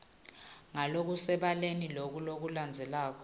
ngalokusebaleni loku lokulandzelako